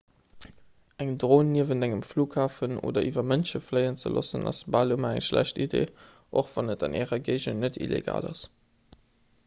eng dron niewent engem flughafen oder iwwer mënsche fléien ze loossen ass bal ëmmer eng schlecht iddi och wann et an ärer géigend net illegal ass